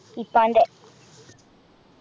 ഇപ്പാൻ്റെ